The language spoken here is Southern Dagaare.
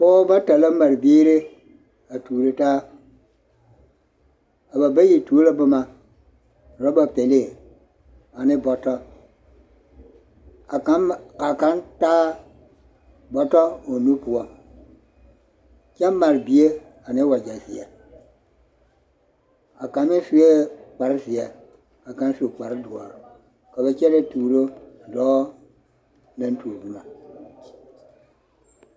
Pɔgebɔ bata la mare biiri a tuuro taa, a ba bayi tuo la boma roba pelee ane bɔtɔ k'a kaŋ taa bɔtɔ o nu poɔ kyɛ mare bie ane wagyɛ zeɛ, a kaŋa sue kpare zeɛ ka kaŋ su kpare doɔre ka ba kyɛnɛ tuuro dɔɔ naŋ tuo boma.